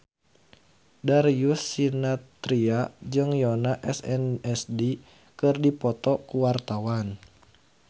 Darius Sinathrya jeung Yoona SNSD keur dipoto ku wartawan